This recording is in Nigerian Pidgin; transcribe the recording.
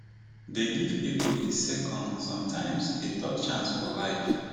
dey give pipo a second sometimes a third chance for life